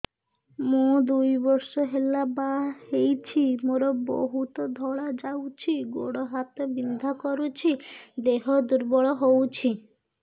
ମୁ ଦୁଇ ବର୍ଷ ହେଲା ବାହା ହେଇଛି ମୋର ବହୁତ ଧଳା ଯାଉଛି ଗୋଡ଼ ହାତ ବିନ୍ଧା କରୁଛି ଦେହ ଦୁର୍ବଳ ହଉଛି